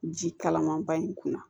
Ji kalaman ba in kunna